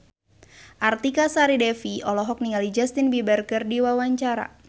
Artika Sari Devi olohok ningali Justin Beiber keur diwawancara